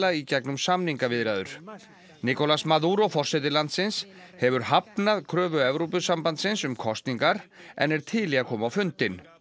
í gegnum samningaviðræður nicolás Maduro forseti landsins hefur hafnað kröfu Evrópusambandsins um kosningar en er til í að koma á fundinn